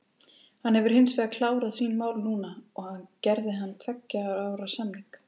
Hann hefur hinsvegar klárað sín mál núna og gerði hann tveggja ára samning.